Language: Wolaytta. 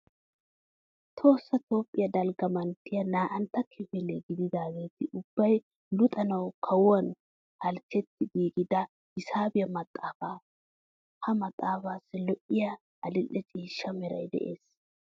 Tohossa Toophphiyaa dalgga manttiyan naa"antta kifile gididaageeti ubbay luxanawu kawuwan halchchetti giigida hisaabiya maxaafaa. Ha maxaafaassi lo"iya adil"e ciishsha meray de'es.